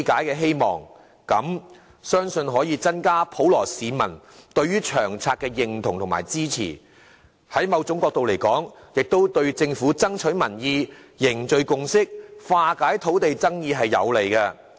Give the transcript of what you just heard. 如此的話，相信可以增加普羅市民對《長遠房屋策略》的認同及支持，在另一角度而言，亦有利政府爭取民意、凝聚共識，以及化解土地爭議。